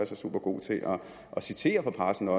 så supergod til at citere fra pressen og